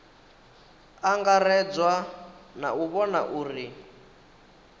angaredzwa na u vhona uri